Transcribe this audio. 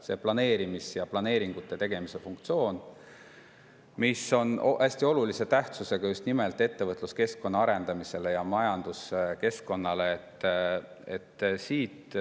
See planeerimise ja planeeringute tegemise funktsioon on hästi olulise tähtsusega just nimelt ettevõtluskeskkonna arendamise ja üldse majanduskeskkonna.